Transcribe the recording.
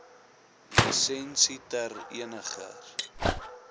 lisensie ter eniger